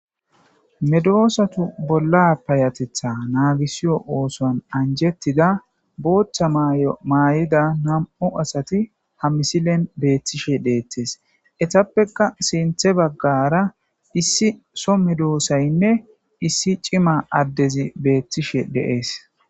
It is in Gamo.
medoosatu bolla payatetha naagisiyo oosoan anjettida booththa maayo maayida nam'u asati ha misilen beettishe deettes etappeka sinthe baggara issi so medoossaynne issi cima addezi beettishe dee'es